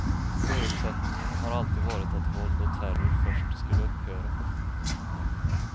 Förutsättningen har alltid varit att våld och terror först skulle upphöra.